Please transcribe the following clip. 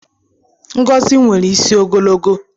Ngozi nwere isi ogologo